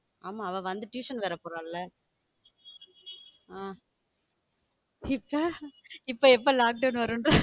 ஆமா அவ வந்து tuition வேற போறா இப்போ இப்போ lockdown வரும்.